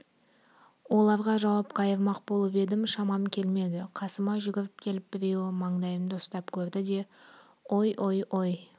оларға жауап қайырмақ болып едім шамам келмеді қасыма жүгіріп келіп біреуі маңдайымды ұстап көрді де ой ой ой